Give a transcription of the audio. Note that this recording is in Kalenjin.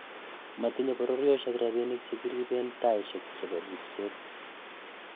Motinye bororyet rapinik chekiripeen taishek chepo ripseet